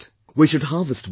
We should harvest water